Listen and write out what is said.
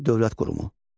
Kuti dövlət qurumu.